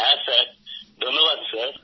হ্যাঁ ধন্যবাদ স্যার